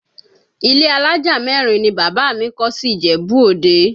Ilé alájà mẹ́rin ni bàbá mi kọ́ sí Ìjẹ̀bú Òde